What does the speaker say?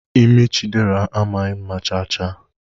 imi Chiderah amaghị mma chaa chaa.